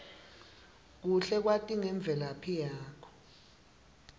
kuhle kwati ngemvelaphi yakho